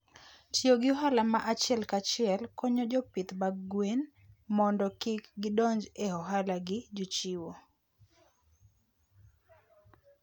Tiyo gi ohala ma achiel kachiel konyo jopith mag gwen mondo kik gidonj e ohala gi jochiwo.